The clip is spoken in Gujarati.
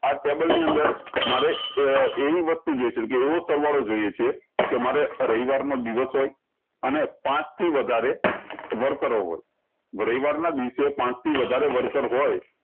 આ ટેબલ ની અંદર મારે એવી વસ્તુ જોયી સકે એવો સરવાળો જોયીયે છે કે મારે આ રવિવાર મા અને પાંચ થી વધારે પર હોવે રવિવાર ના દિવસે પાંચ થી વધારે worker હોય